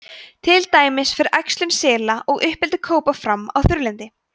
til dæmis fer æxlun sela og uppeldi kópa fram á þurrlendi